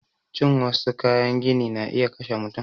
Cin wassu kayan gini na iya kashe mutum